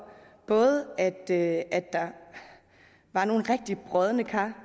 at der var nogle rigtig brodne kar